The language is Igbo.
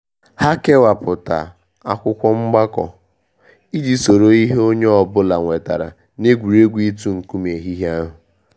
Ha kewapụta akwụkwọ mgbako iji soro ihe onye ọ bụla nwetara n’egwuregwu itu nkume ehihie ahụ